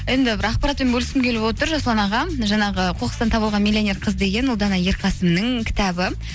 енді бір ақпаратпен бөліскім келіп отыр жасұлан аға жаңағы қоқыстан табылған миллионер қыз деген ұлдана ерқасынның кітабы